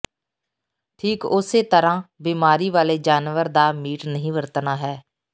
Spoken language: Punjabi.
ਠੀਕ ਉਸੇ ਤਰਾਂ ਬੀਮਾਰੀ ਵਾਲੇ ਜਾਨਵਰ ਦਾ ਮੀਟ ਨਹੀਂ ਵਰਤਣਾ ਹੈ